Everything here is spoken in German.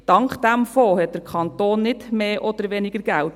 Dank diesem Fonds hat der Kanton nicht mehr oder weniger Geld.